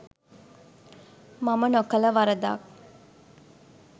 මම නොකළ වරදක්